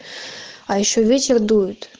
а ещё ветер дует